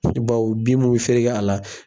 Bawo bin mun bi fereke a la